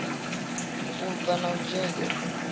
u bva na u dzhena